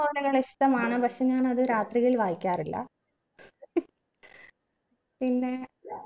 novel കൾ ഇഷ്ടമാണ് പക്ഷെ ഞാൻ അത് രാത്രികളിൽ വായിക്കാറില്ല പിന്നെ